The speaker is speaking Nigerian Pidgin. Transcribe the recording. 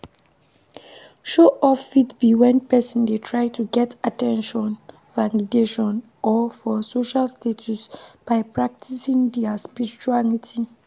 Show off fit be when person dey try to get at ten tion, validation or for social status by practicing their spirituality